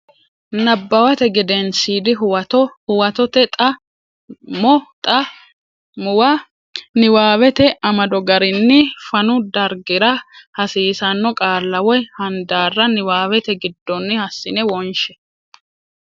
Nabbawate Gedensiidi Huwato Huwatote Xa mo xa muwa niwaawete amado garinni fanu dargira hasiissanno qaalla woy handaarra niwaawete giddonni hassine wonshe.